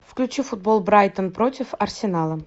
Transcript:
включи футбол брайтон против арсенала